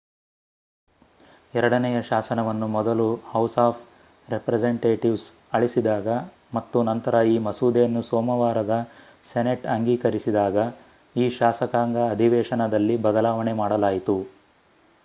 ಎರಡನೆಯ ಶಾಸನವನ್ನು ಮೊದಲು ಹೌಸ್ ಆಫ್ ರೆಪ್ರೆಸೆಂಟೇಟಿವ್ಸ್ ಅಳಿಸಿದಾಗ ಮತ್ತು ನಂತರ ಈ ಮಸೂದೆಯನ್ನು ಸೋಮವಾರದ ಸೆನೆಟ್ ಅಂಗೀಕರಿಸಿದಾಗ ಈ ಶಾಸಕಾಂಗ ಅಧಿವೇಶನದಲ್ಲಿ ಬದಲಾವಣೆ ಮಾಡಲಾಯಿತು